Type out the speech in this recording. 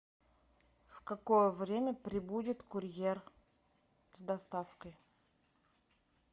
в какое время прибудет курьер с доставкой